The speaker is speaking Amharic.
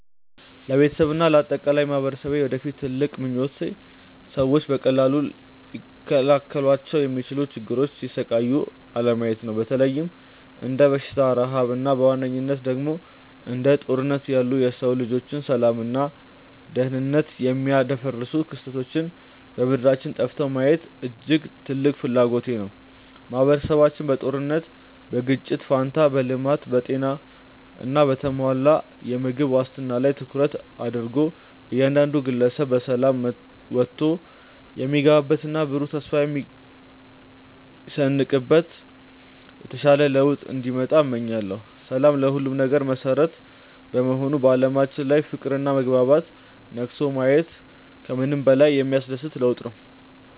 ለቤተሰቤና ለአጠቃላይ ማኅበረሰቤ የወደፊት ትልቁ ምኞቴ ሰዎች በቀላሉ ሊከላከሏቸው በሚችሉ ችግሮች ሲሰቃዩ አለማየት ነው። በተለይም እንደ በሽታ፣ ረሃብ እና በዋነኝነት ደግሞ እንደ ጦርነት ያሉ የሰው ልጅን ሰላምና ደኅንነት የሚያደፈርሱ ክስተቶች ከምድራችን ጠፍተው ማየት እጅግ ትልቅ ፍላጎቴ ነው። ማኅበረሰባችን በጦርነትና በግጭት ፋንታ በልማት፣ በጤና እና በተሟላ የምግብ ዋስትና ላይ ትኩረት አድርጎ እያንዳንዱ ግለሰብ በሰላም ወጥቶ የሚገባበትና ብሩህ ተስፋ የሚሰንቅበት የተሻለ ለውጥ እንዲመጣ እመኛለሁ። ሰላም ለሁሉም ነገር መሠረት በመሆኑ በዓለማችን ላይ ፍቅርና መግባባት ነግሶ ማየት ከምንም በላይ የሚያስደስት ለውጥ ነው።